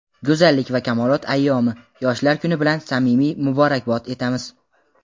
go‘zallik va kamolot ayyomi – Yoshlar kuni bilan samimiy muborakbod etamiz.